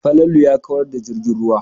Falalu ya kawar da jirgin ruwa.